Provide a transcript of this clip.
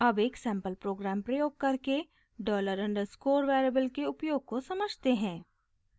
अब एक sample program प्रयोग करके $_ डॉलर अंडरस्कोर वेरिएबल के उपयोग को समझते हैं